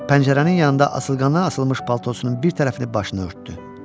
Pəncərənin yanında asılqana asılmış paltosunun bir tərəfini başını örtdü.